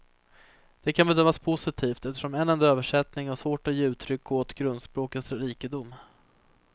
Det kan bedömas positivt, eftersom en enda översättning har svårt att ge uttryck åt grundspråkens rikedom.